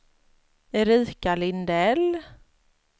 Erika Lindell